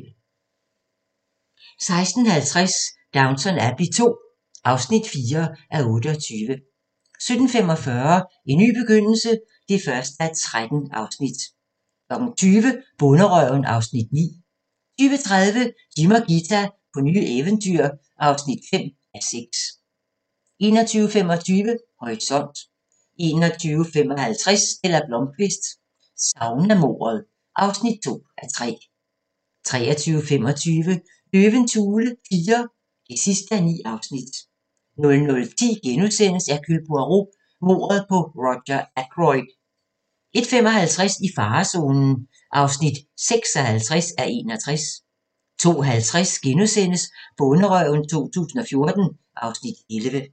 16:50: Downton Abbey II (4:28) 17:45: En ny begyndelse (1:13) 20:00: Bonderøven (Afs. 9) 20:30: Jim og Ghita på nye eventyr (5:6) 21:25: Horisont 21:55: Stella Blómkvist: Saunamordet (2:3) 23:25: Løvens hule IV (9:9) 00:10: Hercule Poirot: Mordet på Roger Ackroyd * 01:55: I farezonen (56:61) 02:50: Bonderøven 2014 (Afs. 11)*